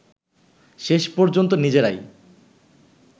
শেষ পর্যন্ত নিজেরাই